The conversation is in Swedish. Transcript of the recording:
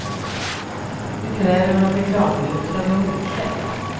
Nu kräver de att reklambyrån ska be om ursäkt.